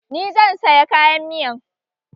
Ni zan saya kayan miyan